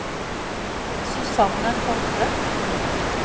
Susanne Hovde